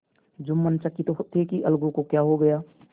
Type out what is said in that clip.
जुम्मन चकित थे कि अलगू को क्या हो गया